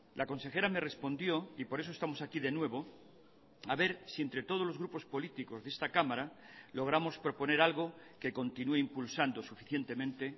la consejera me respondió y por eso estamos aquí de nuevo a ver si entre todos los grupos políticos de esta cámara logramos proponer algo que continúe impulsando suficientemente